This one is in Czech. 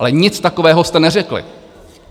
Ale nic takového jste neřekli.